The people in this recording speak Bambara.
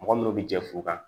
Mɔgɔ minnu bɛ jɛ furu kan